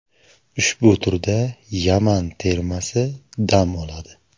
Ushbu turda Yaman termasi dam oladi.